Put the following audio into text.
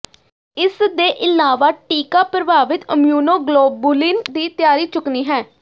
ਇਸ ਦੇ ਇਲਾਵਾ ਟੀਕਾ ਪ੍ਰਭਾਵਿਤ ਇਮਉਨੋਗਲੋਬੁਿਲਨ ਦੀ ਤਿਆਰੀ ਚੁੱਕਣੀ ਹੈ